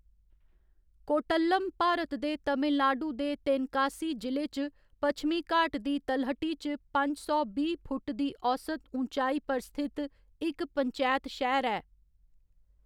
कोर्टल्लम भारत दे तमिलनाडु दे तेनकासी जि'ले च पश्चिमी घाट दी तलहटी च पंज सौ बीह्‌ फुट्ट दी औस्त ऊँचाई पर स्थित इक पंचैत शैह्‌र ऐ।